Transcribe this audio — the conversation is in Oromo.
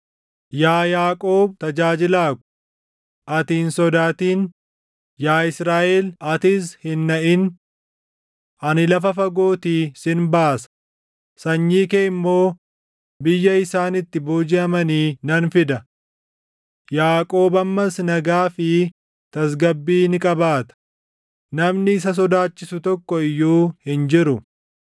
“Yaa Yaaqoob tajaajilaa ko, ati hin sodaatin; yaa Israaʼel atis hin naʼin. Ani lafa fagootii sin baasa; sanyii kee immoo biyya isaan itti boojiʼamanii nan fida. Yaaqoob ammas nagaa fi tasgabbii ni qabaata; namni isa sodaachisu tokko iyyuu hin jiru.